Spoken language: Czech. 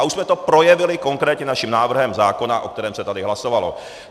A už jsme to projevili konkrétně naším návrhem zákona, o kterém se tady hlasovalo.